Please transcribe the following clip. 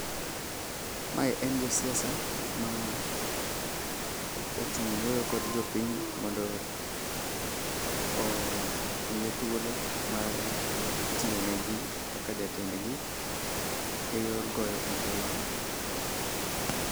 Mae en jasiasa, ma ochung' wuoyo kod jopiny mondo omiye thuolo mar tiyonegi kaka jatendgi e yor goyo ombulu.